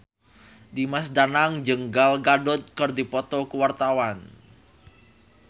Dimas Danang jeung Gal Gadot keur dipoto ku wartawan